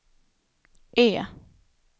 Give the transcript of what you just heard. E